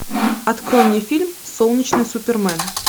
открой мне фильм солнечный супермен